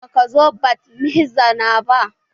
Baka zo bat mitzbah na ba.